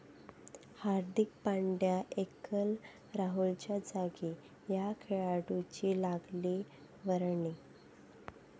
हार्दिक Pandya, KL राहुलच्या जागी या खेळाडूंची लागली वर्णी